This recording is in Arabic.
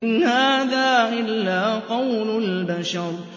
إِنْ هَٰذَا إِلَّا قَوْلُ الْبَشَرِ